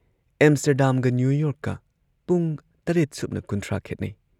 ꯑꯦꯝꯁꯇꯔꯗꯥꯝꯒ ꯅ꯭ꯌꯨꯌꯣꯔꯛꯀ ꯄꯨꯡ ꯇꯔꯦꯠ ꯁꯨꯞꯅ ꯀꯨꯟꯊ꯭ꯔꯥ ꯈꯦꯠꯅꯩ꯫